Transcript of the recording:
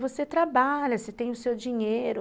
Você trabalha, você tem o seu dinheiro.